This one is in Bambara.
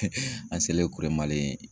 an selen Kuremalen